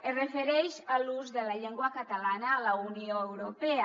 es refereix a l’ús de la llengua catalana a la unió europea